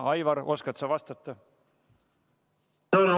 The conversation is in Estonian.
Aivar, oskad sa vastata?